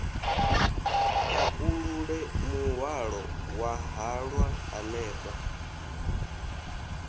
pakulule muhwalo wa halwa hanefho